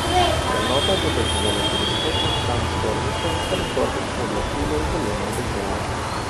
Prenovo bo doživela tudi spletna stran zbornice ter zbornično glasilo Zelena dežela.